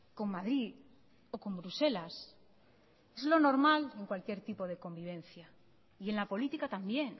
con madrid o con bruselas es lo normal en cualquier tipo de convivencia y en la política también